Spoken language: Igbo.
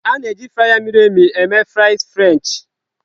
A na-eji frya miri emi eghe frasị frenchị.